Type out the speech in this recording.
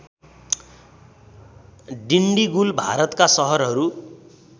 डिन्डिगुल भारतका सहरहरू